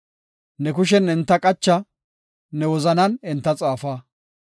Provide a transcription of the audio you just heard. Ne kushen enta qacha; ne wozanan enta xaafa.